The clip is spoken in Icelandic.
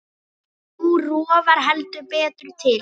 Nú rofar heldur betur til.